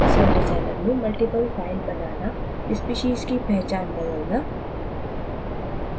celldesigner में multiple files बनाना species की पहचान बदलना